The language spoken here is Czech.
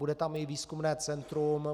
Bude tam i výzkumné centrum.